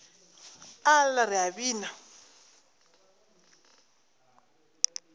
a lla re a bina